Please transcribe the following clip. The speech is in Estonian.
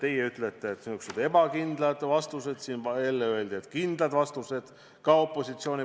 Teie ütlete, et siin antakse ebakindlaid vastuseid, aga enne öeldi, et antakse kindlaid vastuseid – seegi tuli opositsioonist.